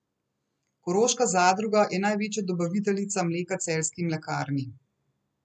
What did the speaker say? Koroška zadruga je največja dobaviteljica mleka celjski mlekarni.